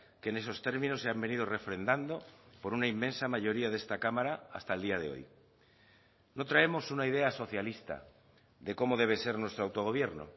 que en esos términos se han venido refrendando por una inmensa mayoría de esta cámara hasta el día de hoy no traemos una idea socialista de cómo debe ser nuestro autogobierno